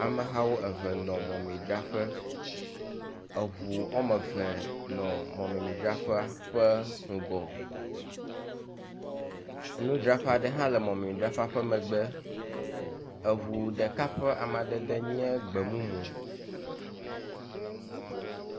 Amehawo eve nɔ mɔmemi dzraƒe, eŋu womeve nɔ mɔmemi dzraƒe ƒe ŋgɔ, nudzraƒe aɖe hã le mɔmemi dzraƒea ƒe megbe, eŋu ɖeka ƒe amadede nye gbemumu